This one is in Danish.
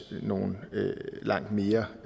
nogle langt mere